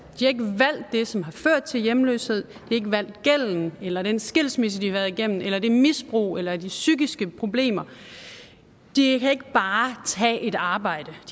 det som har ført til hjemløshed de ikke valgt gælden eller den skilsmisse de har været igennem eller misbruget eller de psykiske problemer de kan ikke bare tage et arbejde